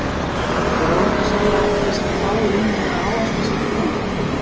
er óhætt að segja að þessar fáu línur hafi ávaxtað sitt pund.